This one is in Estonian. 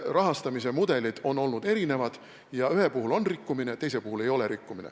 Rahastamise mudelid on olnud erinevad, ühe puhul on rikkumine ja teise puhul ei ole rikkumine.